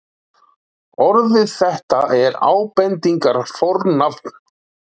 orðið þetta er ábendingarfornafn